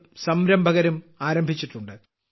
കളും സംരംഭകരും ആരംഭിച്ചിട്ടുണ്ട്